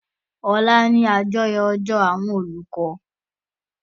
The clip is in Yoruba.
Òla ni àyájọ́ ọjọ́ àwọn olùkọ́.